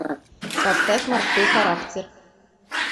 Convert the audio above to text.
поставь морской характер